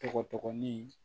Tɔgɔ dɔgɔnin